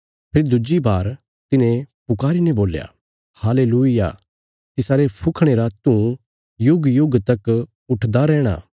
फेरी दुज्जी बार तिन्हें पुकारी ने बोल्या हालेलूय्याह तिसारे फुखणे रा धूँ युगयुग तक उठदा रैहणा